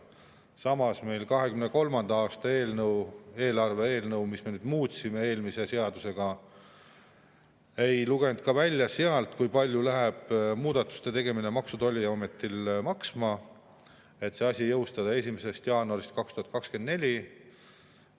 Samas ka 2023. aasta eelarve eelnõust, mida me muutsime eelmise seadusega, ei lugenud välja, kui palju läheb muudatuste tegemine Maksu‑ ja Tolliametile maksma, et see asi jõustada 1. jaanuaril 2024.